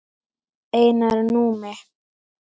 Einar Númi.